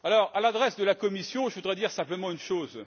À l'adresse de la Commission, je voudrais dire simplement une chose.